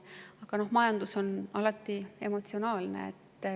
Aga majandus on alati emotsionaalne.